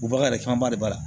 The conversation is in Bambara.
Bagan yɛrɛ camanba de b'a la